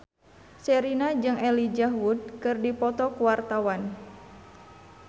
Sherina jeung Elijah Wood keur dipoto ku wartawan